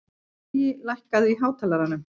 Baui, lækkaðu í hátalaranum.